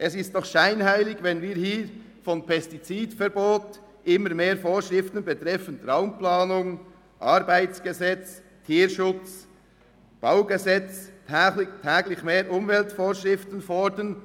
Es ist doch scheinheilig, wenn wir hier von Pestizidverbot, immer mehr Vorschriften betreffend Raumplanung, Arbeitsgesetz, Tierschutz, Baugesetz und täglich mehr Umweltvorschriften fordern.